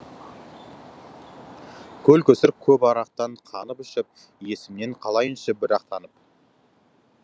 көл көсір көп арақтан қанып ішіп есімінен қалайыншы бір ақ танып